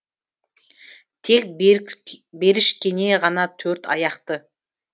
тек берішкене ғана төрт аяқты